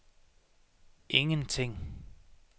ingenting